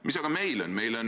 Mis aga meil on?